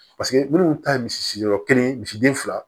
Paseke minnu ta ye misi yɔrɔ kelen misi misi den fila